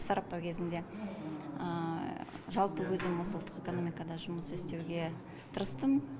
сараптау кезінде жалпы өзім осы ұлттық экономикада жұмыс істеуге тырыстым